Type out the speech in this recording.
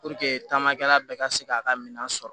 Puruke taamakɛla bɛɛ ka se k'a ka minɛn sɔrɔ